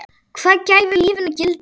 Hvað gefur lífinu gildi?